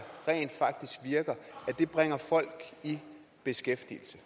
rent faktisk virker det bringer folk i beskæftigelse